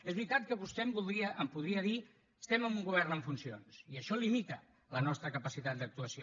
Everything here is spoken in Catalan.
és veritat que vostè em podria dir estem en un govern en funcions i això limita la nostra capacitat d’actuació